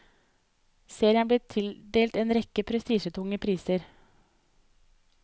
Serien er blitt tildelt en rekke prestisjetunge priser.